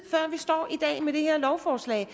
i med det her lovforslag